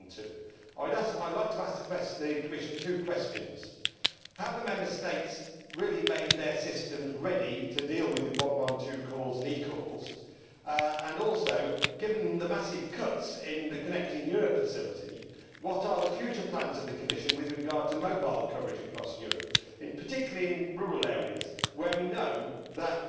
112. I would like to ask the Commission two questions have the Member States really made their systems ready to deal with 112 calls and eCalls and, also, given the massive cuts in the Connecting Europe facility, what are the future plans of the Commission with regard to mobile coverage across Europe, particularly in rural areas where we know that